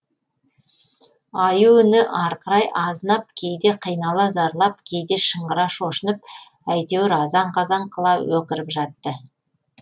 аю үні арқырай азынап кейде қинала зарлап кейде шыңғыра шошынып әйтеуір азан қазан қыла өкіріп жатты